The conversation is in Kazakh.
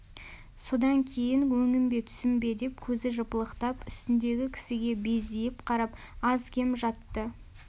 содан кейін өңім бе түсім бе деп көзі жыпылықтап үстіндегі кісіге бездиіп қарап аз-кем жатты